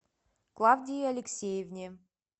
клавдии алексеевне